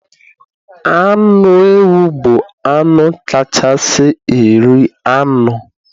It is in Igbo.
Anụ ewu bụ anụ kachasị eri anụ